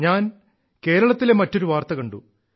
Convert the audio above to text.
ഞാൻ കേരളത്തിലെ മറ്റൊരു വാർത്ത കണ്ടു